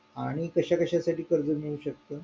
आणि कशा कशासाठी कर्ज मिळू शकत